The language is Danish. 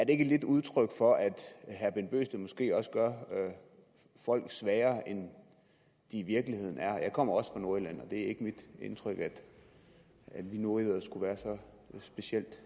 ikke lidt udtryk for at herre bent bøgsted måske også gør folk svagere end de i virkeligheden er jeg kommer også fra nordjylland og det er ikke mit indtryk at vi nordjyder skulle være så specielt